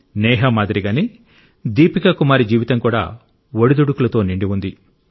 నేహా మాదిరిగానే దీపికా కుమారి జీవితం కూడా ఒడిదుడుకులతో నిండి ఉంది